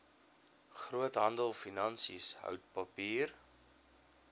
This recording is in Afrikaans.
groothandelfinansies hout papier